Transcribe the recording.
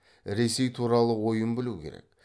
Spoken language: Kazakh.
ресей туралы ойын білу керек